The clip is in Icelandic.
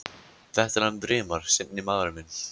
Þetta er hann Brimar. seinni maðurinn minn.